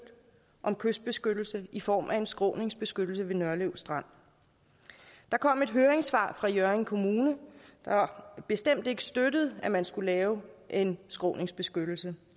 om kystbeskyttelse i form af en skråningsbeskyttelse ved nørlev strand der kom et høringssvar fra hjørring kommune der bestemt ikke støttede at man skulle lave en skråningsbeskyttelse